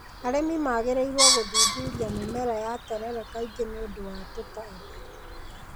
Arĩmi magĩrĩirwo gũthuthuria mĩmera ya terere kaingĩ nĩ ũndũ wa tũtambi.